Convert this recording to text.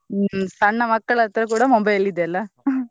ಹ್ಮ್‌ ಸಣ್ಣ ಮಕ್ಕಳ ಹತ್ರ ಕೂಡಾ mobile ಇದೆ ಅಲ್ಲಾ .